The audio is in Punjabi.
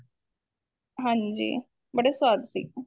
ਹਾਂਜੀ ਬੜੇ ਸਵਾਦ ਸੀ